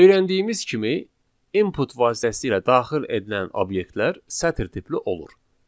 Öyrəndiyimiz kimi input vasitəsilə daxil edilən obyektlər sətir tipli olur.